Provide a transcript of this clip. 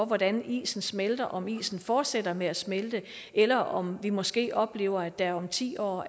hvordan isen smelter om isen fortsætter med at smelte eller om vi måske oplever at det om ti år